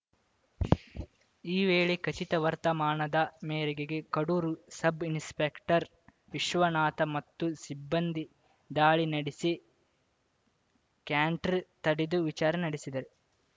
ಈ ವೇಳೆ ಖಚಿತ ವರ್ತಮಾನದ ಮೇರೆಗೆ ಕಡೂರು ಸಬ್‌ ಇನ್‌ಸ್ಪೆಕ್ಟರ್‌ ವಿಶ್ವನಾಥ ಮತ್ತು ಸಿಬ್ಬಂದಿ ದಾಳಿ ನಡೆಸಿ ಕ್ಯಾಂಟರ್‌ ತಡೆದು ವಿಚಾರಣೆ ನಡೆಸಿದರು